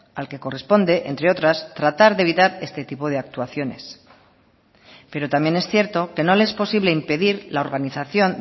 al que corresponde entre otras tratar de evitar este tipo de actuaciones pero también es cierto que no le es posible impedir la organización